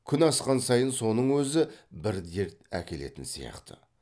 күн асқан сайын соның өзі бір дерт әкелетін сияқты